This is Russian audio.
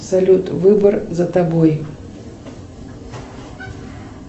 салют выбор за тобой